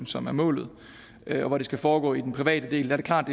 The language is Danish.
som er målet og hvor det skal foregå i den private del er det klart